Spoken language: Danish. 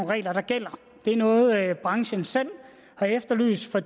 regler der gælder det er noget branchen selv har efterlyst for